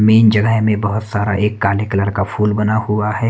Main जगह में बहुत सारा एक एक काले कलर का फूल बना हुआ है।